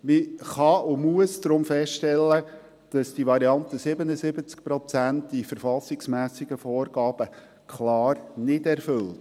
Man kann und muss deshalb feststellen, dass die Variante 77 Prozent die verfassungsmässigen Vorgaben klar nicht erfüllt.